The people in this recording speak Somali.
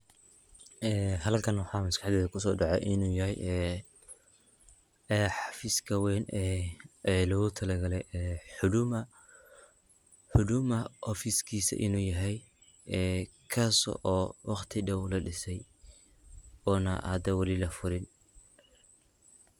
Ee halkan waxa maskaxdeyda kusodece inu yaxay, ee hafiska wen ee ee logutalagalay huduma ofiskisa inu yaxay, ee kasoo oo wagti dow ladisay, ona hadaa wali lafurin.